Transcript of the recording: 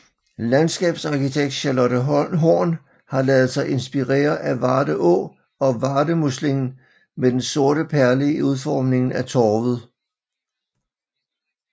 Landskabsarkitekt Charlotte Horn har ladet sig inspirere af Varde Å og Vardemuslingen med den sorte perle i udformningen af torvet